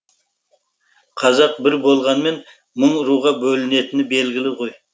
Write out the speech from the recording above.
қазақ бір болғанмен мың руға бөлінетіні белгілі ғой